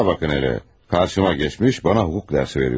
Şuna baxın elə, karşıma geçmiş, bana hukuk dersi veriyor.